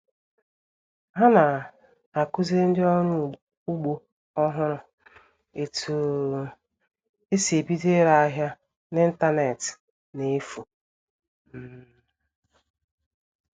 Há nà à-kụziri ndị ọrụ ugbo ọhụrụ etú um e si ebido ire áhịá n'ịntañánétị n'efù um